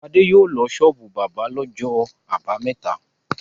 Fadé yóò lọ ṣọ́ọ́bù bábà lọ́jọ́ àbámẹ́ta.